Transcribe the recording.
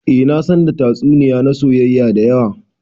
Eh na san da tatsuniya na soyayya da yawa.